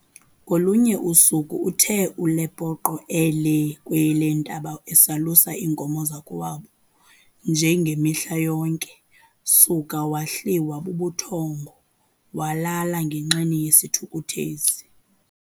Ngolunye usuku uthe uLepoqo elee kweleentaba esalusa iinkomo zakowabo nje ngemihla yonke, suka wahliwa bubuthongo walala ngenxeni yesithukuthezi.